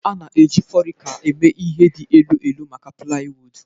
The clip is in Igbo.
A na-eji forica eme ihe dị ka elu elu maka plywood